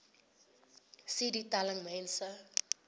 cd telling mense